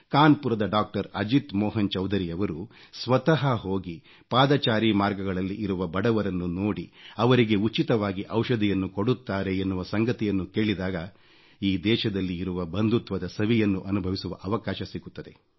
ಕಾನ್ಪುರದ ಡಾಕ್ಟರ್ ಅಜಿತ್ ಮೋಹನ್ ಚೌಧರಿಯವರು ಸ್ವತಃ ಹೋಗಿ ಪಾದಚಾರಿ ಮಾರ್ಗಗಳಲ್ಲಿ ಇರುವ ಬಡವರನ್ನು ನೋಡಿ ಅವರಿಗೆ ಉಚಿತವಾಗಿ ಔಷಧಿಯನ್ನು ಕೊಡುತ್ತಾರೆ ಎನ್ನುವ ಸಂಗತಿಯನ್ನು ಕೇಳಿದಾಗ ಈ ದೇಶದಲ್ಲಿ ಇರುವ ಬಂಧುತ್ವದ ಸವಿಯನ್ನು ಅನುಭವಿಸುವ ಅವಕಾಶ ಸಿಗುತ್ತದೆ